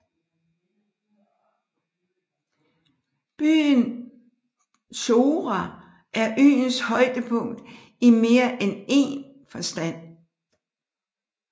Byen Chora er øens højdepunkt i mere end én forstand